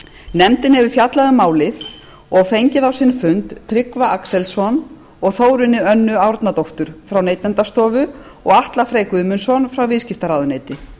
nefndin hefur fjallað um málið og fengið á sinn fund tryggva axelsson og þórunni önnu árnadóttur frá neytendastofu og atla frey guðmundsson frá viðskiptaráðuneyti